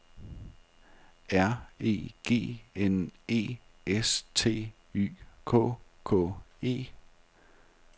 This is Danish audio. R E G N E S T Y K K E